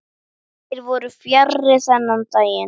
Þeir voru fjarri þennan daginn.